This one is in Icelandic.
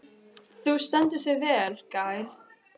Þú stendur þig vel, Gael!